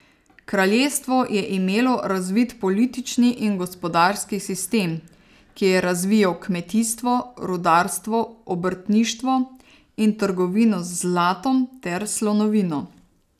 Kraljestvo je imelo razvit politični in gospodarski sistem, ki je razvijal kmetijstvo, rudarstvo, obrtništvo in trgovino z zlatom ter slonovino.